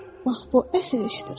Bax bu əsl işdir.